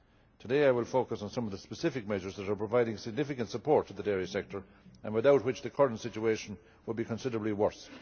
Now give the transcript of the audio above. Today I will focus on some of the specific measures that are providing significant support to the dairy sector and without which the current situation would be considerably worse.